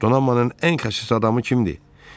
Donanmanın ən xəsis adamı kimdir?